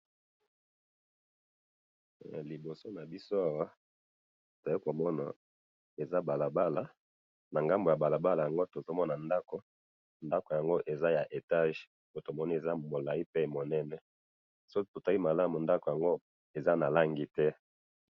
Awa to moni balabala na ngambo kuna ndako ya etage bazo tonga.